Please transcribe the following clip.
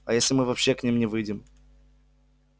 а если мы вообще к ним не выйдем